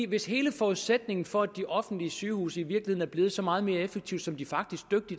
hvis hele forudsætningen for at de offentlige sygehuse i virkeligheden er blevet så meget mere effektive som de faktisk